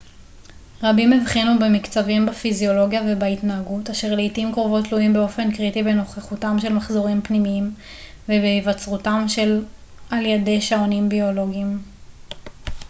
רבים הבחינו במקצבים בפיזיולוגיה ובהתנהגות אשר לעתים קרובות תלויים באופן קריטי בנוכחותם של מחזורים פנימיים ובהיווצרותם על ידי שעונים ביולוגיים